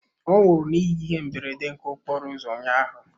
Ọ nwụrụ n'ihi ihe mberede nke okporo ụzọ ụnyaahụ.